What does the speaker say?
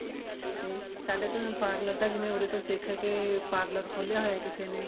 ਤੇ ਸਾਡੇ ਤਾਂ parlor ਦਾ ਜਿਵੇਂ ਉਰੇ ਤੋਂ ਸਿੱਖ ਕੇ parlor ਖੋਲਿਆ ਹੋਇਆ ਕਿਸੇ ਨੇ